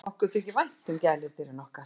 Okkur þykir vænt um gæludýrin okkar.